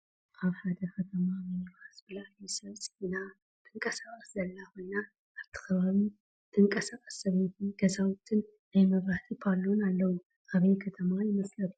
አብ ሐደ ከተማ ምኒባስ ብለዓሊ ሰብ ፅዒና ትንቃሳቀስ ዘላ ኮይና አብቲ ከባቢ ዝትንቃሳቀስ ሰበይቲ፣ ገዛውትን ናይ መብረሃቲ ፓሎን አለው። አበይ ከተማ ይመስለኩም?